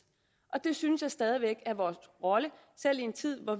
og det synes jeg stadig væk er vores rolle selv i en tid hvor